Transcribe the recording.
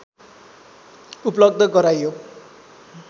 उपलब्ध गराइयो